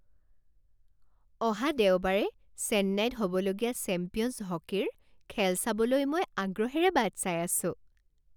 অহা দেওবাৰে চেন্নাইত হ'বলগীয়া চেম্পিয়নছ হকীৰ খেল চাবলৈ মই আগ্ৰহেৰে বাট চাই আছোঁ।